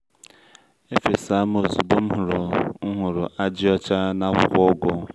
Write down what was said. efesam ozugbo mhụrụ hụrụ ajị ọcha n’akwụkwọ ugu.